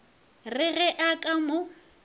re ge a ka mo